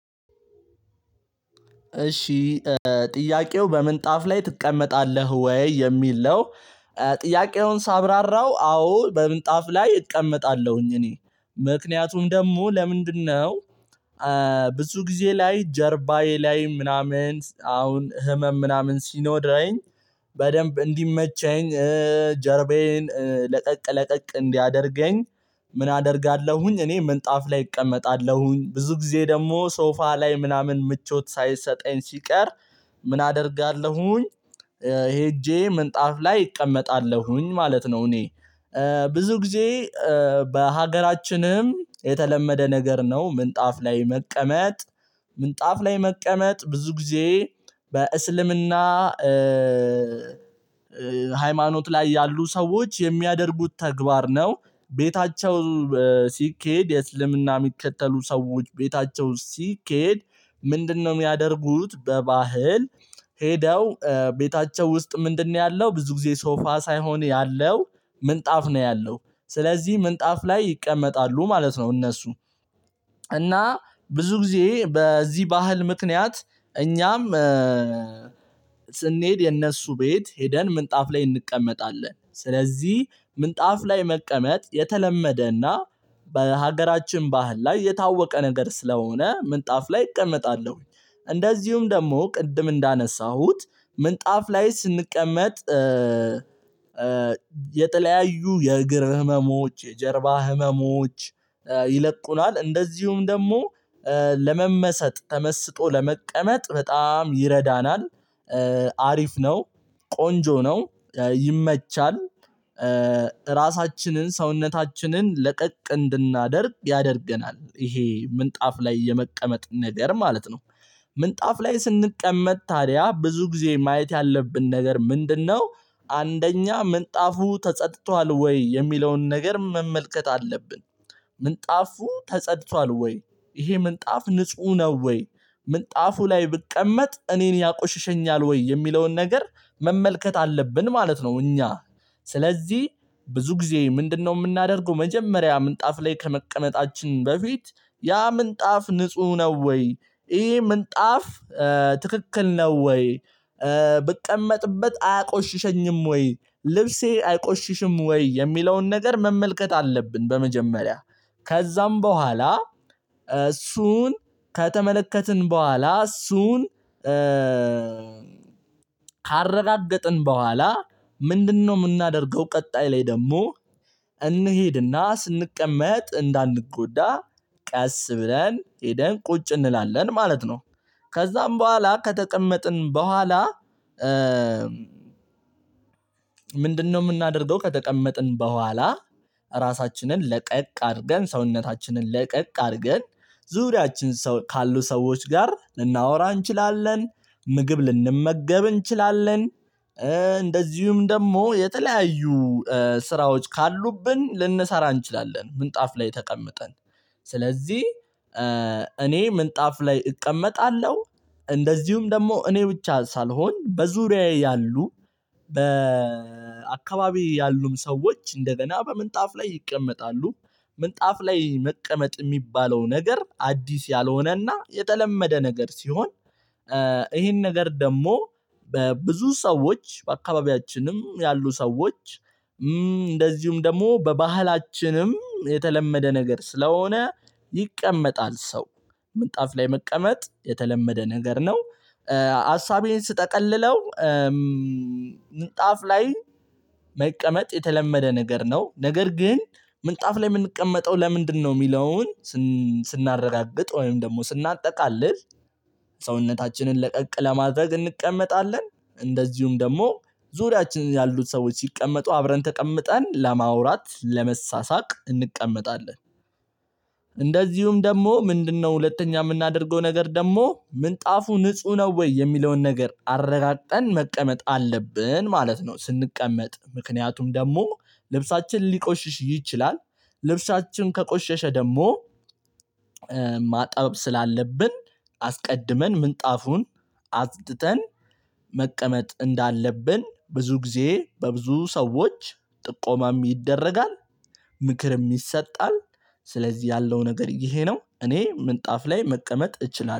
እሺ ጥያቄው በምንጣፍ ላይ ትቀመጣለህ ወይ የሚል ነው? ጥያቄውን ሳብራራው አዎ በምጣፍ ላይ እቀመጣለሁኝ እኔ ምክንያቱም ደግሞ ለምንድነው ብዙ ጊዜ ላይ ጀርባዬ ላይ ምናምን አሁን ህመም ምናምን ሲኖድረኝ በደንብ እንዲመቸኝ ጀርባዬን ለቀቅ ለቀቅ እንዲያደርገኝ ምን አደርጋለሁኝ እኔ ምንጣፍ ላይ እቀመጣለሁኝ። ብዙ ጊዜ ደግሞ ሶፋ ላይ ምናምን ምቾት ሳይሰጠኝ ሲቀር ምን አደርጋለሁኝ ሄጄ ምንጣፍ ላይ እቀመጣለሁኝ ማለት ነው። እኔ ብዙ ጊዜ በሀገራችንም የተለመደ ነገር ነው ምንጣፍ ላይ መቀመጥ ምንጣፍ ላይ መቀመጥ ብዙ ጊዜ በእስልምና ሃይማኖት ላይ ያሉ ሰዎች የሚያደርጉት ተግባር ነው። ቤታቸው ሲኬድ የእስልምና የሚከተሉ ሰዎች ቤታቸው ሲኬድ፤ ምንድነው የሚያደርጉት በባህል ሄደው ቤታቸው ውስጥ ምንድነው ያለው ብዙ ጊዜ ሶፋ ሳይሆን ያለው ምንጣፍ ነው ያለው ስለዚህ ምንጣፍ ላይ ይቀመጣሉ ማለት ነው። እነሱ እና ብዙ ጊዜ በዚህ ባህል ምክንያት እኛም ስንሄድ የእነሱ ቤት ሄደን ምንጣፍ ላይ እንቀመጣለን፤ ስለዚህ ምንጣፍ ላይ መቀመጥ የተለመደና በሀገራችን ባህል ላይ የታወቀ ነገር ስለሆነ ምንጣፍ ላይ እቀመጣለሁኝ እንደዚሁም ደግሞ ቅድም እንዳነሳሁት ምንጣፍ ላይ ስንቀመጥ የተለያዩ የእግር ህመሞች፤ የጀርባ ህመሞች፤ ይለቁናል እንደዚሁም ደግሞ ለመመሰጥ ተመስጦ ለመቀመጥ በጣም ይረዳናል። አሪፍ ነው ቆንጆ ነው ይመቻል። ራሳችንን ሰውነታችንን ለቀቅ እንድናደርግ ያደርገናል። ይሄ ምንጣፍ ላይ የመቀመጡ ነገር ማለት ነው። ምንጣፍ ላይ ስንቀመጥ ታዲያ ብዙ ጊዜ ማየት ያለብን ነገር ምንድነው? አንደኛ ምንጣፉ ተጸድቷል ወይ? የሚለውን ነገር መመልከት አለብን ምንጣፉ ተጸድቷል ወይ? ይሄ ምንጣፍ ንጹህ ነው ወይ? ምንጣፉ ላይ ብቀመጥ እኔን ያቆሽሸኛል ወይ የሚለውን ነገር መመልከት አለብን ማለት ነው እኛ። ስለዚህ ብዙ ጊዜ ምንድነው የምናደርገው መጀመሪያ ምንጣፍ ላይ ከመቀመጣችን በፊት ያ ምንጣፍ ንጹህ ነው ወይ ይሄ ምንጣፍ ትክክል ነው ወይ? ብቀመጥበት አያቆሽሸኝም ወይ? ልብሴ አይቆሽሽም ወይ? የሚለውን ነገር መመልከት አለብን በመጀመሪያ ከዛም በኋላ እሱን ከተመለከትን በኋላ እሱን ካረጋገጥን በኋላ ምንድነው የምናደርገው ቀጣይ ላይ ደግሞ እንሄድና ስንቀመጥ እንዳንጎዳ ቀስ ብለን ሄደን ቁጭ እንላለን ማለት ነው። ከዛም በኋላ ከተቀመጥን በኋላ ምንድነው የምናደርገው ከተቀመጥን በኋላ ራሳችንን ለቀቅ አድርገን፤ ሰውነታችንን ለቀቅ አድርገን፤ ዙሪያችን ካሉ ሰዎች ጋር ልናወራ እንችላለን፤ ምግብ ልንመገብ እንችላለን እንደዚሁም ደግሞ የተለያዩ ስራዎች ካሉብን ልንሰራ እንችላለን ምንጣፍ ላይ ተቀምጠን። ስለዚህ እኔ ምንጣፍ ላይ እቀመጣለሁ፤ እንደዚሁም ደግሞ እኔ ብቻ ሳልሆን በዙሪያዬ ያሉ በአካባቢዬ ያሉም ሰዎች እንደገና በምንጣፍ ላይ ይቀመጣሉ። ምንጣፍ ላይ መቀመጥ የሚባለው ነገር አዲስ ያልሆነና የተለመደ ነገር ሲሆን ይሄን ነገር ደግሞ በብዙ ሰዎች በአካባቢያችንም ያሉ ሰዎች እንደዚሁም ደግሞ በባህላችንም የተለመደ ነገር ስለሆነ ይቀመጣል ሰው። ምንጣፍ ላይ መቀመጥ የተለመደ ነገር ነው። ሀሳቤን ስጠቅልለው ምጣፍ ላይ መቀመጥ የተለመደ ነገር ነው። ነገር ግን ምንጣፍ ላይ የምንቀመጠው ለምንድነው የሚለውን ስናረጋግጥ ወይም ደግሞ ስናጠቃልል ሰውነታችንን ለቀቅ ለማድረግ እንቀመጣለን፤ እንደዚሁም ደግሞ ዙሪያችን ያሉት ሰዎች ሲቀመጡ አብረን ተቀምጠን ለማውራት፤ ለመሳሳቅ እንቀመጣለን። እንደዚሁም ደግሞ ምንድነው ሁለተኛ የምናደርገው ነገር ደግሞ ምንጣፉ ንጹህ ነው ወይ? የሚለውን ነገር አረጋግጠን መቀመጥ አለብን ማለት ነው። ስንቀመጥ ምክንያቱም ደግሞ ልብሳችን ሊቆሽሽ ይችላል ልብሳችን ከቆሸሸ ደግሞ ማጠብ ስላለብን አስቀድመን ምንጣፉን አጽድተን መቀመጥ እንዳለብን ብዙ ጊዜ በብዙ ሰዎች ጥቆማም ይደረጋል ምክርም የሚሰጥ ስለዚህ ያለው ነገር ይሄ ነው እኔ ምንጣፍ ላይ መቀመጥ እችላለሁ።